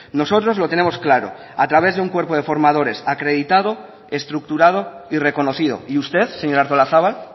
nosotros lo tenemos claro a través de un cuerpo de formadores acreditado estructurado y reconocido y usted señora artolazabal